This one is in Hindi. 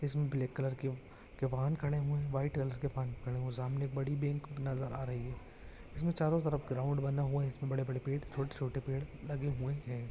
इसमें ब्लेक कलर की व के वाहन खड़े हुवे है वाईट अलर के पान कार्ड ओ सामने एक बडी बैंक नजर आ रही है इसमें चारो तरफ ग्राउंड बना हुवा है इसमें बड़े बड़े पेड़ छोटे छोटे पेड़ लगे हुवे हैं।